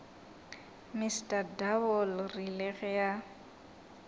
mr double rile ge a